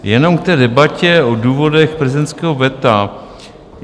Jenom k té debatě o důvodech prezidentského veta.